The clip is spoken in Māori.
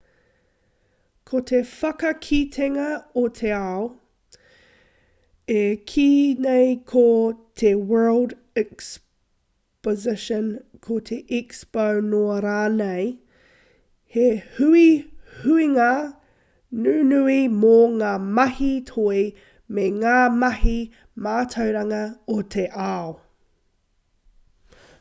ko te whakakitenga o te ao e kīia nei ko te world exposition ko te expo noa rānei he huihuinga nunui mō ngā mahi toi me ngā mahi mātauranga o te ao